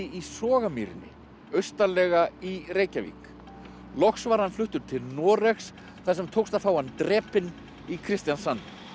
Sogamýrinni austarlega í Reykjavík loks var hann fluttur til Noregs þar sem tókst að fá hann drepinn í Kristiansand